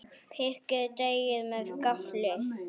Pikkið deigið með gaffli.